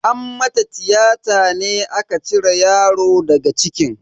An mata tiyata ne aka cire yaro daga cikin.